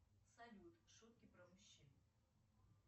салют шутки про мужчин